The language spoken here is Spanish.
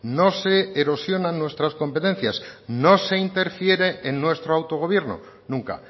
no se erosionan nuestras competencias no se interfiere en nuestro autogobierno nunca